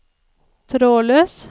trådløs